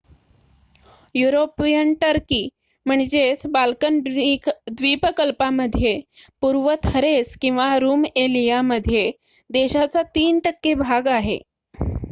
European Turkey Balkan द्वीप कल्पामध्ये पूर्व थरेस किंवा रूमएलिया मध्ये देशाचा 3% भाग आहे